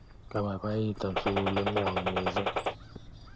Kepaipaitan sukuli ng'wong' missing'